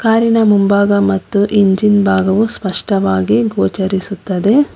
ಕಾರಿನ ಮುಂಭಾಗ ಮತ್ತು ಇಂಜಿನ್ ಭಾಗವು ಸ್ಪಷ್ಟವಾಗಿ ಗೋಚರಿಸುತ್ತದೆ.